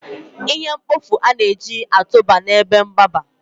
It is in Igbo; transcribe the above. ihe mkpofu a na-eji na-atụba ebe mgbaba